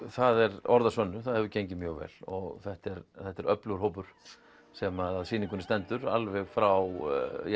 það eru orð að sönnu það hefur gengið mjög vel og þetta er þetta er öflugur hópur sem að sýningunni stendur alveg frá